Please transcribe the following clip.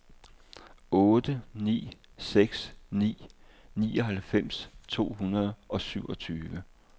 otte ni seks ni nioghalvfems to hundrede og syvogfyrre